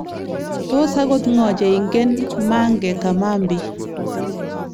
Tos akot ng'o cheingen Mange Kamambi?